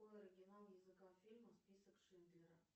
какой оригинал языка фильма список шиндлера